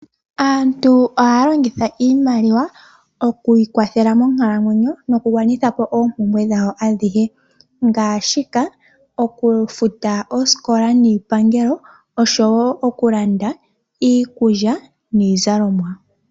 Aantu oha yalongitha iimaliwa okwiikwathela moonkalamwenyo noku gwanithapo oompumbwe dhawo adhihe, ngaashi oku futa oosikola niipangelo nosho wo okulanda iikulya niizalomwa.